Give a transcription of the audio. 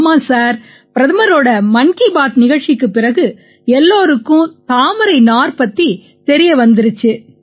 ஆமாம் சார் பிரதமரோட மன் கீ பாத் நிகழ்ச்சிக்குப் பிறகு எல்லாருக்கும் தாமரை நார் பத்தித் தெரிய வந்திருச்சு